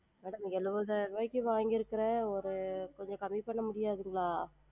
Madam எழுவதாயிருவாய்க்கு வாங்கிருக்குரன் ஒரு கொஞ்சம் கம்மி பன்ன முடியாதுங்களா?